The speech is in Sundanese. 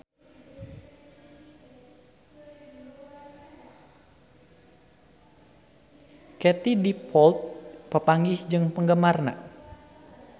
Katie Dippold papanggih jeung penggemarna